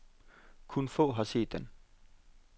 Kun få har set den.